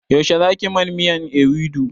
Yaushe za ki man miyan ewedu?